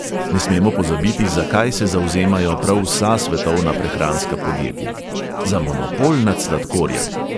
Ne smemo pozabiti, za kaj se zavzemajo prav vsa svetovna prehranska podjetja: za monopol nad sladkorjem!